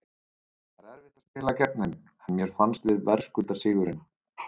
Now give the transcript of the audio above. Það er erfitt að spila gegn þeim en mér fannst við verðskulda sigurinn.